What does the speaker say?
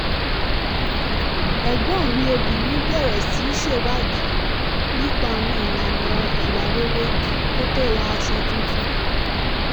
ẹ̀gbọ́n mi obìnrin bẹ̀rẹ̀ sí ṣèwádìí nípa àwọn ìlànà ìwà rere kó tó ra aṣọ tuntun